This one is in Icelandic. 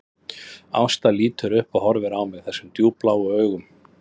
Ásta lítur upp og horfir á mig þessum djúpbláu augum